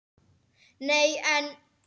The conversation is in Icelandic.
Nei en.